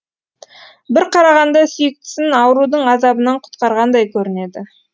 бір қарағанда сүйіктісін аурудың азабынан құтқарғандай көрінеді